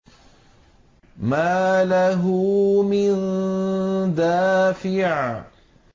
مَّا لَهُ مِن دَافِعٍ